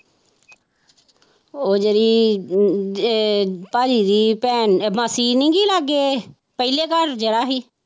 ਉਹ ਜਿਹੜੀ ਇਹ ਭਾਜੀ ਦੀ ਭੈਣ ਮਾਸੀ ਨੀ ਗੀ ਲਾਗੇ ਪਹਿਲੇ ਘਰ ਜਾਣਾ ਸੀ।